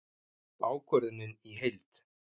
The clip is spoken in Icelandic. Ákvörðunin í heild